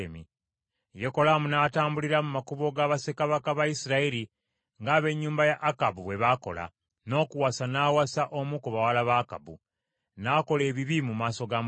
Yekolaamu n’atambulira mu makubo ga bassekabaka ba Isirayiri ng’ab’ennyumba ya Akabu bwe baakola, n’okuwasa n’awasa omu ku bawala ba Akabu. N’akola ebibi mu maaso ga Mukama .